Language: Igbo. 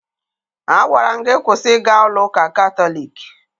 Agwara m gị kwụsị ịga ụlọ ụka Katọliki!